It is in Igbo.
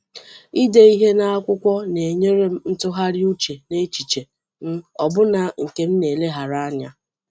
Ide ihe n’akwụkwọ na-enyere m atụgharị uche n’echiche m, ọbụna nke m na-eleghara anya.